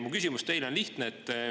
Mu küsimus teile on lihtne.